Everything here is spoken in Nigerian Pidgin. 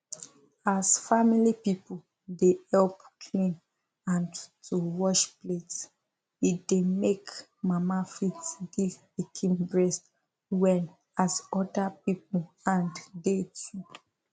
as family people dey help clean and to wash plate e dey make mama fit give pikin breast well as other people hand dey too